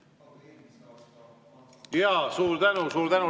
Jaa, suur tänu, suur tänu!